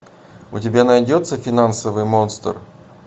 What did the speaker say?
у тебя найдется финансовый монстр